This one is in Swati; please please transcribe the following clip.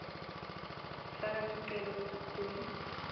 faka sicelo kusikhungo